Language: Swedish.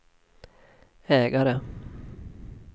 ägare